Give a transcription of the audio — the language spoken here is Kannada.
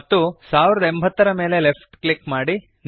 ಮತ್ತೆ 1080 ಯ ಮೇಲೆ ಲೆಫ್ಟ್ ಕ್ಲಿಕ್ ಮಾಡಿರಿ